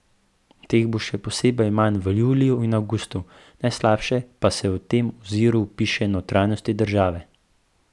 Teh bo še posebej manj v juliju in avgustu, najslabše pa se v tem oziru piše notranjosti države.